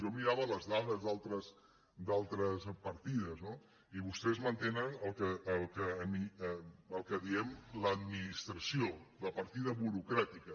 jo mirava les dades d’altres partides no i vostès mantenen el que en diem l’administració la partida burocràtica